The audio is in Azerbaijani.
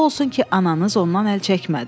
O olsun ki, ananız ondan əl çəkmədi.